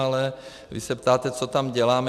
Ale vy se ptáte, co tam děláme.